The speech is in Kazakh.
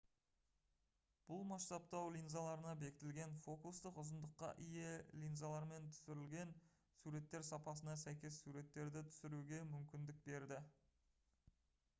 бұл масштабтау линзаларына бекітілген фокустық ұзындыққа ие линзалармен түсірілген суреттер сапасына сәйкес суреттерді түсіруге мүмкіндік берді